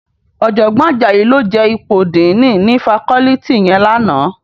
Òjògbòn Ajayi ló je ipó dìní ni fákòlìtí yèn làná